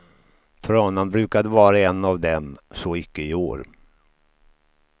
Tranan brukade vara en av dem, så icke i år.